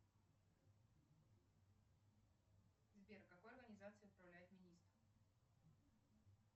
сбер какой организацией управляет министр